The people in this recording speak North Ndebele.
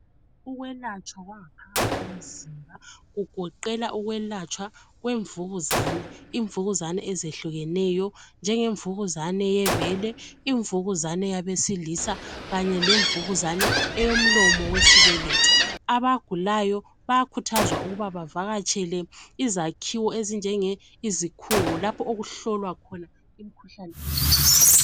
Ukwelatshwa kwangaphakathi komzimba kugoqela ukwelatshwa imvukuzane, imvukuzane ezehlukeneyo, njengemvukuzane yebele, imvukuzane yabesilisa kanye lemvukuzane eyomlomo wesibeletho. Abagulayo bayakhuthazwa ukuba abavakatshele izakhiwo ezinjenge izikhungo lapho okuhlolwa khona imikhuhlane eyehlukeneyo.